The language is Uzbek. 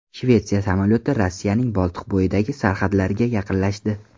Shvetsiya samolyoti Rossiyaning Boltiqbo‘yidagi sarhadlariga yaqinlashdi.